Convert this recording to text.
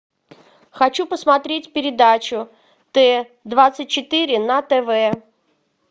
хочу посмотреть передачу т двадцать четыре на тв